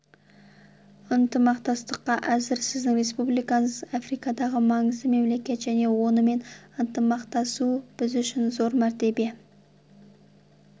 ынтымақтастыққа әзір сіздің республикаңыз африкадағы маңызды мемлекет және онымен ынтымақтасу біз үшін зор мәртебе